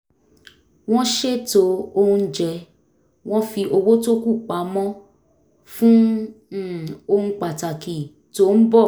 wọ́n ṣètò oúnjẹ wọ́n fi owó tó kù pamọ́ fún um ohun pàtàkì tó ń bọ̀